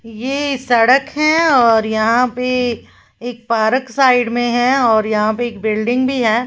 ये सड़क है और यहां पे एक पार्क साइड में है और यहां पे एक बिल्डिंग भी है।